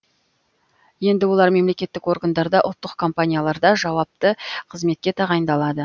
енді олар мемлекеттік органдарда ұлттық компанияларда жауапты қызметке тағайындалады